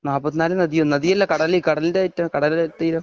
നാല്പത്തിനാല് നദിയോ നദി അല്ലാകടല് കടലിന്റെ അറ്റം കടൽതീരം